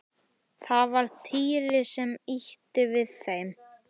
Það var Týri sem ýtti við þeim.